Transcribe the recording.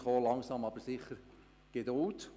Ich habe Verständnis dafür.